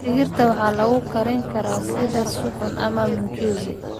Digirta waxaa lagu karin karaa sidii suxuun ama mchuzi.